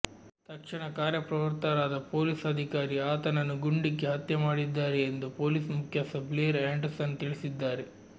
ತಕ್ಷಣ ಕಾರ್ಯಪ್ರವೃತ್ತರಾದ ಪೊಲೀಸ್ ಅಧಿಕಾರಿ ಆತನನ್ನು ಗುಂಡಿಕ್ಕಿ ಹತ್ಯೆ ಮಾಡಿದ್ದಾರೆ ಎಂದು ಪೊಲೀಸ್ ಮುಖ್ಯಸ್ಥ ಬ್ಲೇರ್ ಆ್ಯಂಡರ್ಸನ್ ತಿಳಿಸಿದ್ದಾರೆ